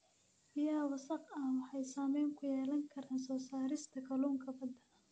Biyaha wasakhda ah waxay saameyn ku yeelan karaan soo saarista kalluunka badda.